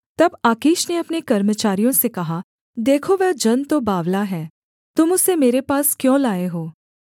तब आकीश ने अपने कर्मचारियों से कहा देखो वह जन तो बावला है तुम उसे मेरे पास क्यों लाए हो